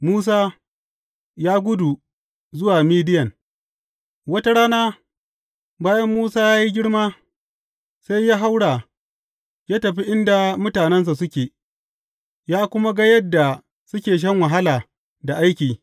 Musa ya gudu zuwa Midiyan Wata rana, bayan Musa ya yi girma, sai ya haura, ya tafi inda mutanensa suke, ya kuma ga yadda suke shan wahala da aiki.